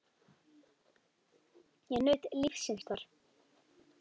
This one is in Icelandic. Ég naut lífsins þar.